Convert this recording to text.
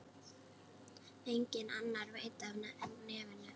Enginn annar veit af nefinu.